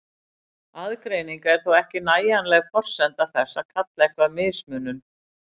Aðgreining er þó ekki nægjanleg forsenda þess að kalla eitthvað mismunun.